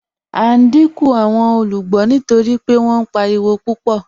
À n díńkù awọn olúgbọ́ nítorí pé wọn páriwo pupọ̀.